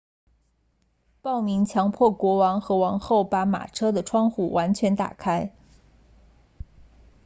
暴民强迫国王和王后把马车的窗户完全打开